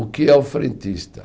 O que é o frentista?